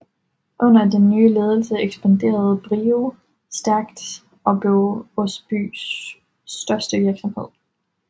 Under den nye ledelse ekspanderede BRIO stærkt og blev Osbys største virksomhed